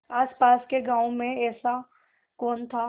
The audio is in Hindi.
आसपास के गाँवों में ऐसा कौन था